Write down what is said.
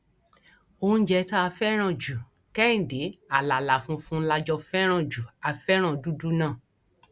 oúnjẹ tá a fẹràn ju kẹhìndẹ àlàlà funfun la jọ fẹràn jù á fẹràn dúdú náà